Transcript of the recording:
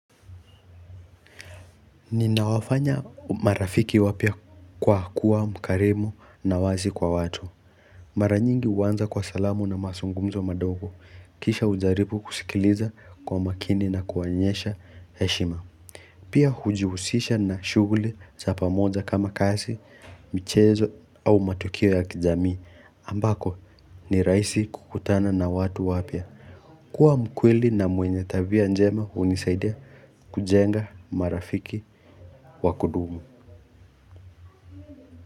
Ninawafanya marafiki wapya kwa kuwa mkarimu na wazi kwa watu Mara nyingi huanza kwa salamu na mazungumzo madogo kisha hujaribu kusikiliza kwa makini na kuwaonyesha heshima Pia hujihusisha na shughuli za pamoja kama kazi michezo au matokeo ya kijamii ambako ni rahisi kukutana na watu wapya kuwa mkweli na mwenye tabia njema hunisaidia kujenga marafiki wa kudumu.